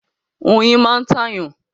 Oyin máa ń tàyàn.